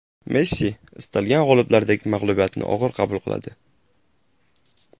Messi, istalgan g‘oliblardek mag‘lubiyatni og‘ir qabul qiladi.